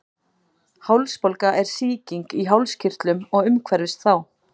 Hálsbólga er sýking í hálskirtlum og umhverfis þá.